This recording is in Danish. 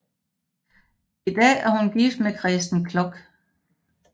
I dag er hun gift med Kresten Kloch